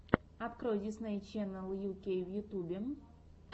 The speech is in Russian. открой дисней ченнел ю кей в ютубе